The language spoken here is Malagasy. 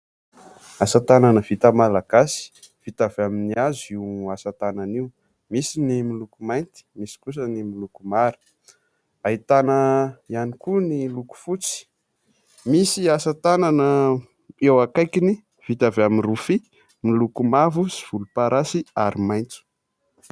Asa tanana vita malagasy vita avy amin'ny hazo io asa tanana io : misy ny miloko mainty, misy kosa ny miloko mara, ahitana ihany koa ny loko fotsy, misy asa tanana eo akaikiny vita avy amin'ny rofia miloko mavo sy volomparasy ary maitso.